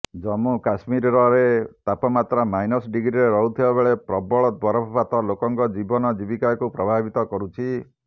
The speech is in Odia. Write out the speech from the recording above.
ଜମ୍ମୁକାଶ୍ମୀରରେ ତାପମାତ୍ରା ମାଇନସ ଡିଗ୍ରୀରେ ରହୁଥିବାବେଳେ ପ୍ରବଳ ବରଫପାତ ଲୋକଙ୍କ ଜୀବନଜୀବିକାକୁ ପ୍ରଭାବିତ କରୁଛି